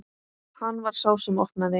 Hann var sá sem opnaði.